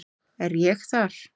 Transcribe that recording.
Er ég þar?